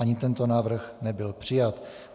Ani tento návrh nebyl přijat.